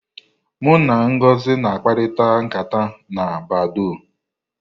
Mụ na Ngozi na akparịkata nkata na badọọ́.